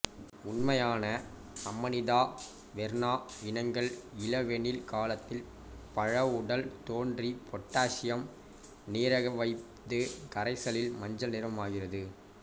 உண்மையான Amanita verna இனங்கள் இளவேனில் காலத்தில் பழவுடல் தோன்றி பொட்டாசியம் நீரகவைது கரைசலில் மஞ்சள் நிறமாகிறது